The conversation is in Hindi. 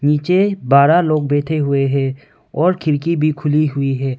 नीचे बारह लोग बैठे हुए हैं और खिरकी भी खुली हुई है।